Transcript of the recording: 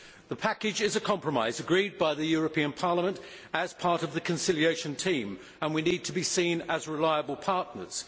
The package is a compromise, agreed by the European Parliament as part of the conciliation team, and we need to be seen as reliable partners.